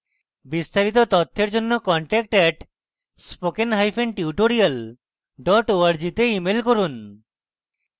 বিস্তারিত তথ্যের জন্য contact @spokentutorial org তে ইমেল করুন